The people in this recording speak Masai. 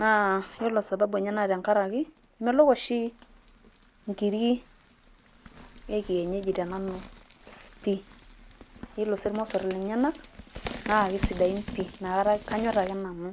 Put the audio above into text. naa ore oshi sababu enye naa emelok oshi, inkiri ekinyeji tenanu pii. ore sii irmosor lenyanak naa kisidain pii. kanyor ake nanu.